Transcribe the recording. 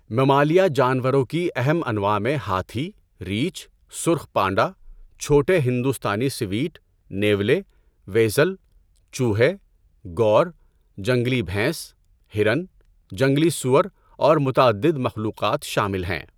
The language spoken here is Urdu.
ممالیہ جانوروں کی اہم انواع میں ہاتھی، ریچھ، سرخ پانڈا، چھوٹے ہندوستانی سیویٹ، نیولے، ویسل، چوہے، گور، جنگلی بھینس، ہرن، جنگلی سؤر اور متعدد مخلوقات شامل ہیں۔